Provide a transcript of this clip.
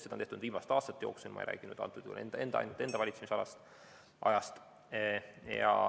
Seda on tehtud viimaste aastate jooksul, ma ei räägi ainult enda valitsemisajast.